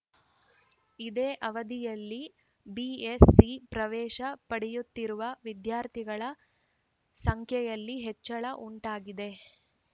ಇದೇ ಅವಧಿಯಲ್ಲಿ ಬಿಎಸ್‌ಸಿ ಪ್ರವೇಶ ಪಡೆಯುತ್ತಿರುವ ವಿದ್ಯಾರ್ಥಿಗಳ ಸಂಖ್ಯೆಯಲ್ಲಿ ಹೆಚ್ಚಳ ಉಂಟಾಗಿದೆ